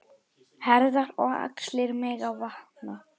Herðar og axlir megi vanta.